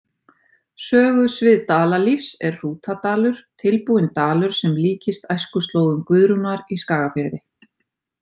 Sögusvið Dalalífs er Hrútadalur, tilbúinn dalur sem líkist æskuslóðum Guðrúnar í Skagafirði.